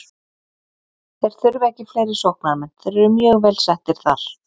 Þeir þurfa ekki fleiri sóknarmenn, þeir eru mjög vel settir þar.